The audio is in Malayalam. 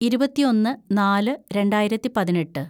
ഇരുപത്തിയൊന്ന് നാല് രണ്ടായിരത്തി പതിനെട്ട്‌